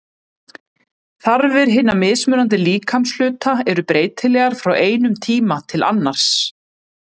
Þarfir hinna mismunandi líkamshluta eru breytilegar frá einum tíma til annars.